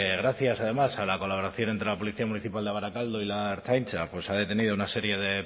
gracias además a la colaboración entre la policía municipal de barakaldo y la ertzaintza pues se ha detenido a una serie de